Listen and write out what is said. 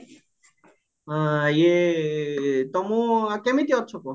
ହଁ ଇଏ ତମେ କେମିତି ଅଛ କୁହ